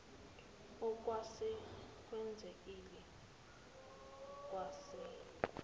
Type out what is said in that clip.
okwase kwenzekile kwase